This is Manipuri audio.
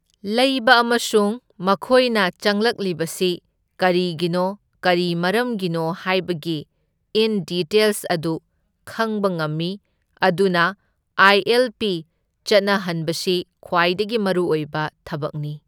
ꯂꯩꯕ ꯑꯃꯁꯨꯡ ꯃꯈꯣꯏꯅ ꯆꯪꯂꯛꯂꯤꯕꯁꯤ ꯀꯔꯤꯒꯤꯅꯣ ꯀꯔꯤ ꯃꯔꯝꯒꯤꯅꯣ ꯍꯥꯏꯕꯒꯤ ꯏꯟ ꯗꯤꯇꯦꯜꯁ ꯑꯗꯨ ꯈꯪꯕ ꯉꯝꯃꯤ ꯑꯗꯨꯅ ꯑꯥꯏ ꯑꯦꯜ ꯄꯤ ꯆꯠꯅꯍꯟꯕꯁꯤ ꯈ꯭ꯋꯥꯏꯗꯒꯤ ꯃꯔꯨꯑꯣꯏꯕ ꯊꯕꯛꯅꯤ꯫